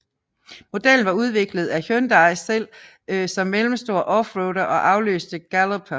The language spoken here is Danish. Modellen var udviklet af Hyundai selv som mellemstor offroader og afløste Galloper